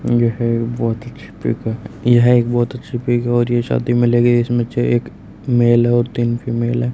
यह एक बहुत ही अच्छी पिक है यह एक बहुत अच्छी पिक है और ये शादी में लगे इसमे से एक मेल है और तीन फीमेल है।